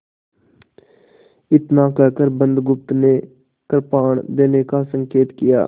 इतना कहकर बुधगुप्त ने कृपाण देने का संकेत किया